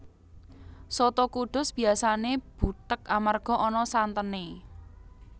Soto Kudus biyasané butheg amarga ana santené